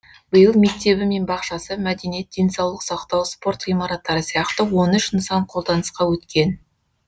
биыл мектебі мен бақшасы мәдениет денсаулық сақтау спорт ғимараттары сияқты он үш нысан қолданысқа өткен